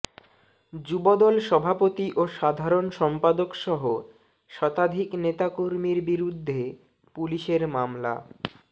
যুবদল সভাপতি ও সাধারণ সম্পাদকসহ শতাধিক নেতাকর্মীর বিরুদ্ধে পুলিশের মামলা